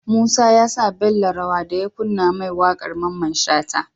Musa yasa Bello rawa daya kunna ma waƙar mamman shata